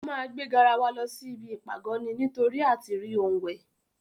Ó máa gbé garawa rẹ̀ lọ sí ibi ìpàgọ́ ni nítórí àtirí ohun wẹ̀.